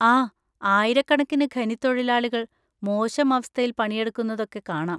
ആ, ആയിരക്കണക്കിന് ഖനിത്തൊഴിലാളികൾ മോശം അവസ്ഥയിൽ പണിയെടുക്കുന്നതൊക്കെ കാണാം.